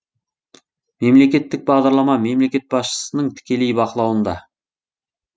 мемлекеттік бағдарлама мемлекет басшысының тікелей бақылауында